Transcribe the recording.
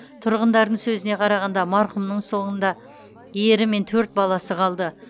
тұрғындардың сөзіне қарағанда марқұмның соңында ері мен төрт баласы қалды